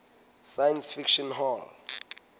science fiction hall